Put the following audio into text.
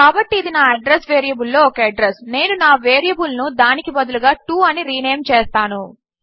కాబట్టి ఇది నా అడ్రెస్ వేరియబుల్ లో ఒక అడ్రస్ నేను నా వేరియబుల్ ను దానికి బదులుగా టో అని రీనేమ్ చేస్తాను